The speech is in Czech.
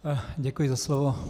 Děkuji za slovo.